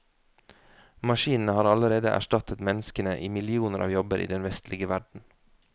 Maskinene har allerede erstattet menneskene i millioner av jobber i den vestlige verden.